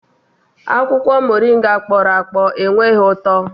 Akwụkwọ Moringa kpọrọ akpọ enweghị ụtọ